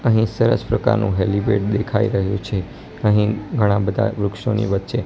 અહીં સરસ પ્રકારનું હેલીપેડ દેખાઈ રહ્યું છે અહીં ઘણા બધા વૃક્ષોની વચ્ચે--